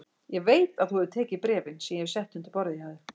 Ég veit að þú hefur tekið bréfin sem ég hef sett undir borðið hjá þér